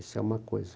Isso é uma coisa.